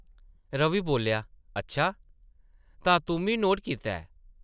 रवि बोल्लेआ , ‘‘अच्छा , तां तुʼम्मी नोट कीता ऐ ।’’